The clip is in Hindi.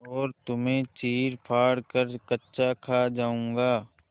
और तुम्हें चीरफाड़ कर कच्चा खा जाऊँगा